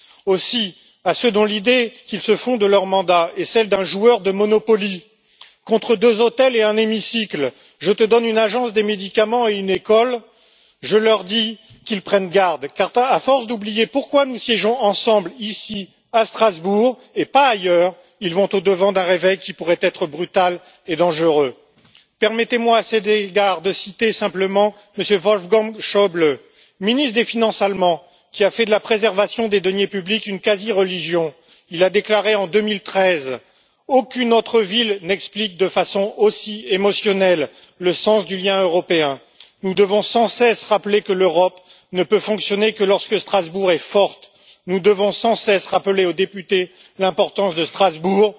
Aussi à ceux dont l'idée qu'ils se font de leur mandat est celle d'un joueur de Monopoly contre deux hôtels et un hémicycle, je te donne une agence des médicaments et une école je leur dis de prendre garde car, à force d'oublier pourquoi nous siégeons ensemble ici, à Strasbourg, et pas ailleurs, ils vont au devant d'un réveil qui pourrait être brutal et dangereux. Permettez moi à cet égard de citer simplement M. Wolfgang Schäuble, ministre allemand des finances, qui a fait de la préservation des deniers publics une quasi religion. Il a déclaré, en 2013, qu'aucune autre ville n'explique de façon aussi émotionnelle le sens du lien européen. Nous devons sans cesse rappeler que l'Europe ne peut fonctionner que lorsque Strasbourg est forte. Nous devons sans cesse rappeler aux députés l'importance de Strasbourg.